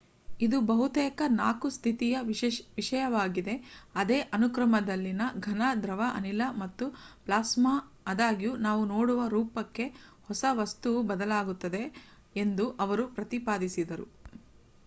ಇದು ಬಹುತೇಕವಾಗಿ 4 ಸ್ಥಿತಿಯ ವಿಷಯವಾಗಿದೆ ಅದೇ ಅನುಕ್ರಮದಲ್ಲಿ: ಘನ ದ್ರವ ಅನಿಲ ಮತ್ತು ಪ್ಲಾಸ್ಮಾ ಆದಾಗ್ಯೂ ನಾವು ನೋಡುವ ರೂಪಕ್ಕೆ ಹೊಸ ವಸ್ತುವು ಬದಲಾಗುತ್ತವೆ ಎಂದೂ ಅವರು ಪ್ರತಿಪಾದಿಸಿದರು